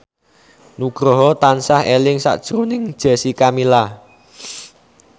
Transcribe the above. Nugroho tansah eling sakjroning Jessica Milla